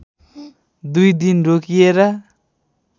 दुई दिन रोकिएर